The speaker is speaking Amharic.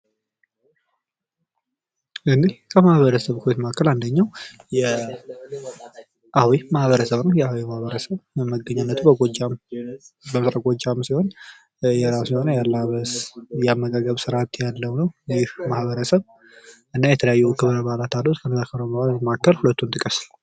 የአዊ ማህበረሰብ የራሱ የሆነ ባህል ያለው ሲሆን ከነዛም መካከል ሁለቱን ጥቅስ?